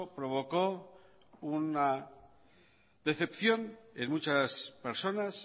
provocó una decepción en muchas personas